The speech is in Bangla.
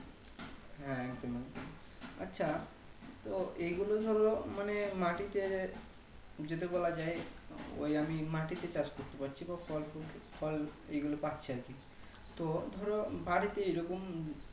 হ্যাঁ একদমই আচ্ছা তো এইগুলো ধরো মানে মাটিতে যদি বলা যাই ওই আমি মাটিতে চাষ করতে পারছি বা ফল ফুল ফল এইগুলো পাচ্ছি আরকি তো ধর বাড়িতে এই রকম